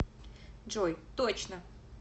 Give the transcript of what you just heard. джой точно